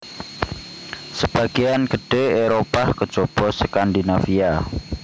Sebagéyan gedhé Éropah kejaba Skandinavia